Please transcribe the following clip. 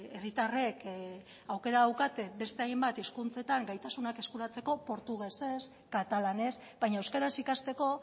herritarrek aukera daukate beste hainbat hizkuntzetan gaitasunak eskuratzeko portugesez katalanez baina euskaraz ikasteko